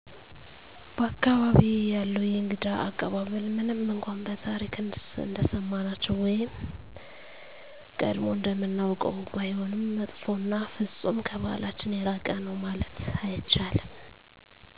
በ አካባቢየ ያለው የእንግዳ አቀባበል ምንም እነኳን በታሪክ እንደሰማናቸው ወይም ቀጀሞ እንደምናውቀው ባይሆንም መጥፎ እና ፍፁም ከበህላችን የራቀ ነው ማለት አይቻልም